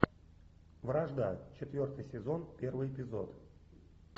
вражда четвертый сезон первый эпизод